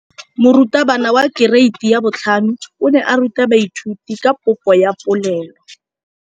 Moratabana wa kereiti ya 5 o ne a ruta baithuti ka popô ya polelô.